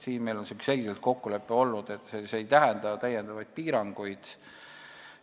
Siin on meil olnud selge kokkulepe, et see ei tähenda täiendavaid piiranguid.